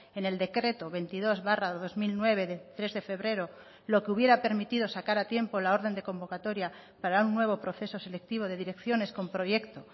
en el decreto veintidós barra dos mil nueve de tres de febrero lo que hubiera permitido sacar a tiempo la orden de convocatoria para un nuevo proceso selectivo de direcciones con proyecto